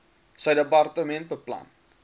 sy departement beplan